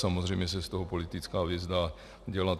Samozřejmě se z toho politická věc dá udělat.